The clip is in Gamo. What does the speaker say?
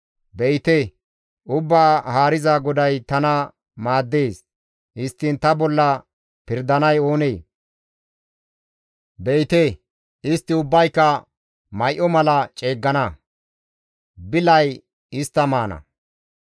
Be7ite, Ubbaa Haariza GODAY tana maaddees; histtiin ta bolla pirdanay oonee? Be7ite, istti ubbayka may7o mala ceeggana; bilay istta maana.